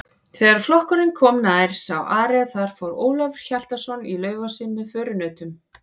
Þegar flokkurinn kom nær sá Ari að þar fór Ólafur Hjaltason í Laufási með förunautum.